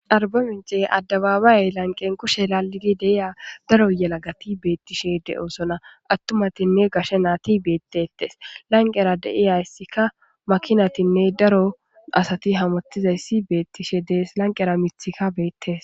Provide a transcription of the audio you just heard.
Arba mince addabaabayey lanqen kushe lalidi deiya daro yalagati beettishe de7oosona attumatinne gashe naati beettetes lanqera deiyayssikka makinatinne daro asati hamottizayssi beettishe dees lanqera mithika beettes.